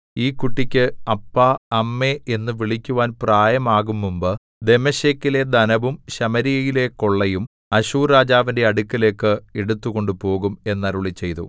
ഈ കുട്ടിക്ക് അപ്പാ അമ്മേ എന്നു വിളിക്കുവാൻ പ്രായമാകുംമുമ്പ് ദമ്മേശെക്കിലെ ധനവും ശമര്യയിലെ കൊള്ളയും അശ്ശൂർരാജാവിന്റെ അടുക്കലേക്ക് എടുത്തുകൊണ്ടുപോകും എന്നരുളിച്ചെയ്തു